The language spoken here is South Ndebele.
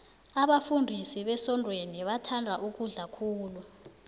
abafundisi besontweni bathanda ukudla khulu